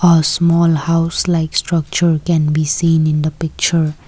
a small house like structure can be seen in the picture.